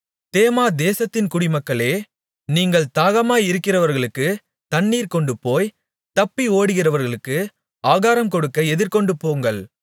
தேமா தேசத்தின் குடிமக்களே நீங்கள் தாகமாயிருக்கிறவர்களுக்குத் தண்ணீர் கொண்டுபோய் தப்பி ஓடுகிறவர்களுக்கு ஆகாரங்கொடுக்க எதிர்கொண்டுபோங்கள்